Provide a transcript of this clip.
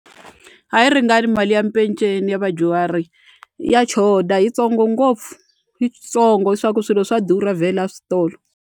A yi ringani mali ya peceni ya vadyuhari ya choda yitsongo ngopfu yitsongo hi swa ku swilo swa durha vhela a switolo.